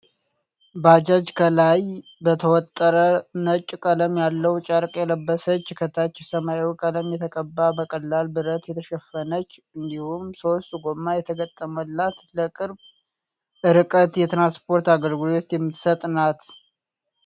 ባጃጅ ከላይ በተወጠረ ነጭ ቀለም ያለው ጨርቅ የለበሰች ከታች ሰማያዊ ቀለም የተቀባ በቀላል ብረት የተሸፈነች እንዲሁም ሶስት ጎማ የተገጠመላት ለቅርብ እርቀት የትራንስፖርት አገልግሎት የምትሰጥ ናት።